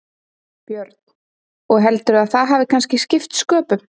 Björn: Og heldurðu að það hafi kannski skipt sköpum?